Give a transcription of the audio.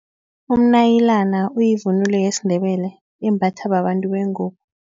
Umnayilana uyivunulo yesiNdebele imbathwa babantu bengubo.